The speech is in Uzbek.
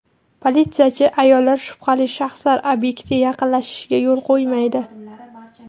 Politsiyachi ayollar shubhali shaxslar obyektga yaqinlashishiga yo‘l qo‘ymaydi.